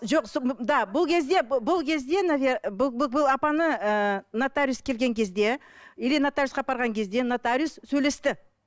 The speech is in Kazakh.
жоқ да бұл кезде бұл кезде бұл апаны ыыы нотариус келген кезде или нотариуске апарған кезде нотариус сөйлесті